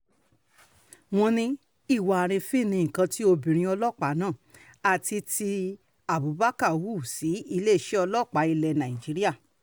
wọ́n ní ìwà àrífín ní nǹkan tí obìnrin ọlọ́pàá náà àti títí abubakar hù sí iléeṣẹ́ ọlọ́pàá ilẹ̀ nàìjíríà